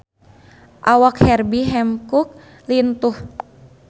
Awak Herbie Hancock lintuh